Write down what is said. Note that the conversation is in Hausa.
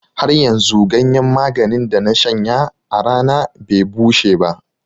Haryanzu ganyen maganin da na shanya a rana be bushe ba.